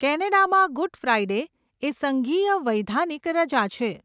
કેનેડામાં, Good Friday એ સંઘીય વૈધાનિક રજા છે.